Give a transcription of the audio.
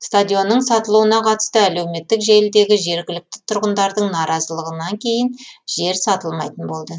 стадионның сатылуына қатысты әлеуметтік желідегі жергілікті тұрғындардың наразылығынан кейін жер сатылмайтын болды